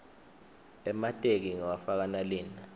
emateki ngiwafaka nalina